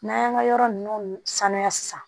N'an y'an ka yɔrɔ ninnu saniya sisan